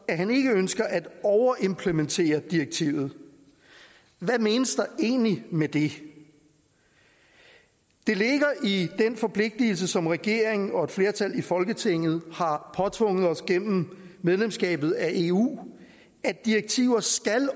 at han ikke ønsker at overimplementere direktivet hvad menes der egentlig med det det ligger i den forpligtelse som regeringen og et flertal i folketinget har påtvunget os gennem medlemskabet af eu at direktiver skal